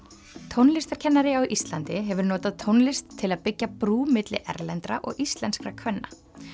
tónlistarkennari á Íslandi hefur notað tónlist til að byggja brú milli erlendra og íslenskra kvenna